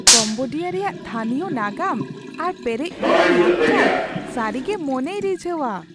Cambodia ᱨᱮᱭᱟᱜ ᱛᱷᱟᱹᱱᱤᱭᱚ ᱱᱟᱜᱟᱢ ᱟᱨ ᱯᱮᱨᱮᱡᱼᱯᱩᱨᱩᱱ ᱞᱟᱠᱪᱟᱨ ᱥᱟᱹᱨᱤ ᱜᱮ ᱢᱚᱱᱮᱭ ᱨᱤᱡᱷᱟᱹᱣᱟ ᱾